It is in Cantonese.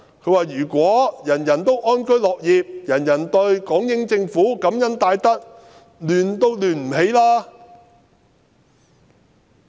他說："如果人人安居樂業，人人對港英政府感恩戴德，想亂也亂不起來。